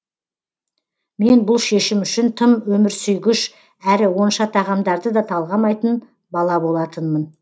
мен бұл шешім үшін тым өмірсүйгіш әрі онша тағамдарды да талғамайтын бала болатынмын